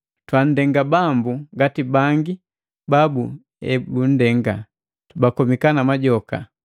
Twaanndenga Bambu ngati bangi babu ebundenga, bakomika na majoka.